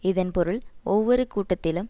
இதன் பொருள் ஒவ்வொரு கூட்டத்திலும்